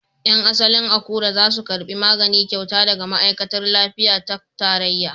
Yan asalin Akure za su karbi magani kyauta daga ma'aikatar lafiya ta tarayya.